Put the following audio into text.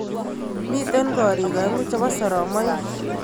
Mitei korik aengu chebo soromoik.